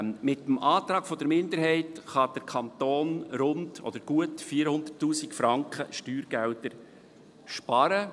Mit dem Antrag der Minderheit kann der Kanton gut 400’000 Franken Steuergelder sparen.